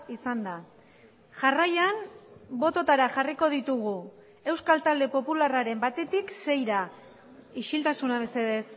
izan da jarraian bototara jarriko ditugu euskal talde popularraren batetik seira isiltasuna mesedez